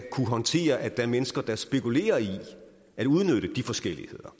kunne håndtere at der er mennesker der spekulerer i at udnytte de forskelligheder